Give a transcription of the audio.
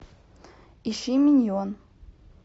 ищи миньон